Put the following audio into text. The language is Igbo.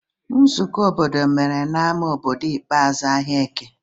Nzukọ obodo o mere na ama obodo ikpeazụ ahia eke?